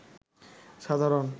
সাধারণ